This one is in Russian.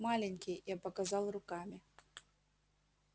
маленький я показал руками